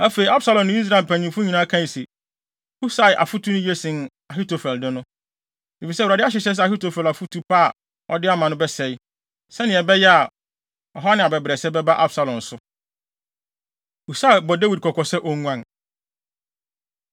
Afei, Absalom ne Israel mpanyimfo nyinaa kae se, “Husai afotu no ye sen Ahitofel de no.” Efisɛ Awurade ahyehyɛ sɛ Ahitofel afotu pa a ɔde ama no bɛsɛe, sɛnea ɛbɛyɛ a, ɔhaw ne abɛbrɛsɛ bɛba Absalom so. Husai Bɔ Dawid Kɔkɔ Sɛ Onguan